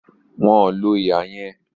Wọn ò lo ihà yẹn